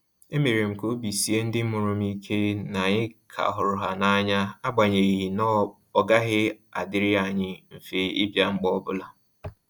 E mere m ka obi sie ndị mụrụ m ike na anyị ka hụrụ ha n'anya, agbanyeghi na ọ gaghị adịrị anyị mfe ịbịa mgbe ọbụla